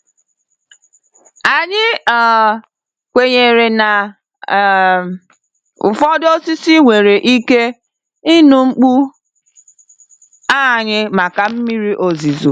Anyị um kwenyere na um ụfọdụ osisi nwere ike ịnụ mkpu anyị maka mmiri ozuzo.